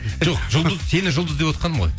жоқ жұлдыз сені жұлдыз девотқаным ғой